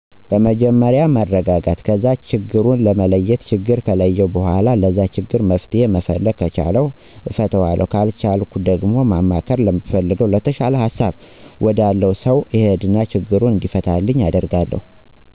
መጀመርያ መረጋጋት ከዛ ችግሩን መለየት ችግሩን ከለየሁ በኋላ ለዛ ችግር መፍትሄ መፈለግ ከቻልሁ እፈታዋለሁ ካልቻልሁ ደግሞ ማማከር ለምፈለገው/የተሻለ ሀሳብ ወዳለው ሰው እሄድና ችግሩ እንዲፈታ አደርጋለሁ።